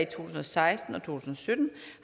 tusind og seksten og to tusind og sytten